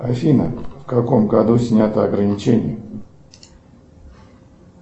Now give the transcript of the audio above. афина в каком году снято ограничение